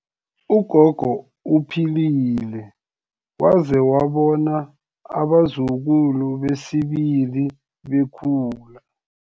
Ugogo uphilile waze wabona abazukulu besibili bekhula.